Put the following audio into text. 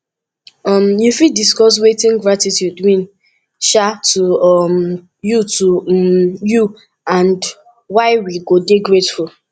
um you fit discuss wetin gratitude mean um to um you to um you and why we go dey grateful